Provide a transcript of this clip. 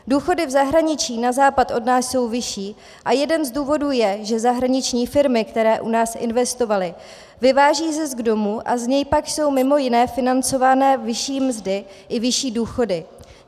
Důchody v zahraničí na západ od nás jsou vyšší a jeden z důvodů je, že zahraniční firmy, které u nás investovaly, vyvážejí zisk domů a z něj pak jsou mimo jiné financovány vyšší mzdy i vyšší důchody.